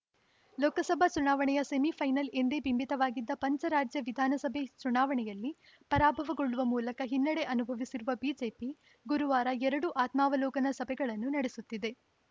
ಲೋಕಸಭೆ ಚುನಾವಣೆಯ ಸೆಮಿಫೈನಲ್‌ ಎಂದೇ ಬಿಂಬಿತವಾಗಿದ್ದ ಪಂಚರಾಜ್ಯ ವಿಧಾನಸಭೆ ಚುನಾವಣೆಯಲ್ಲಿ ಪರಾಭವಗೊಳ್ಳುವ ಮೂಲಕ ಹಿನ್ನಡೆ ಅನುಭವಿಸಿರುವ ಬಿಜೆಪಿ ಗುರುವಾರ ಎರಡು ಆತ್ಮಾವಲೋಕನ ಸಭೆಗಳನ್ನು ನಡೆಸುತ್ತಿದೆ